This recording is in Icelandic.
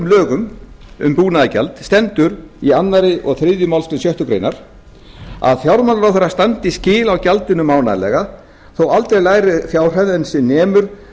lögum um búnaðargjald stendur í öðru og þriðju málsgrein sjöttu grein að fjármálaráðherra standi skil á gjaldinu mánaðarlega þó aldrei lægri fjárhæð en sem nemur